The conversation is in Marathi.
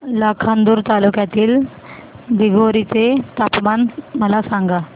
लाखांदूर तालुक्यातील दिघोरी चे तापमान मला सांगा